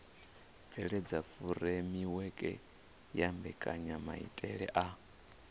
bveledza furemiweke ya mbekanyamaitele a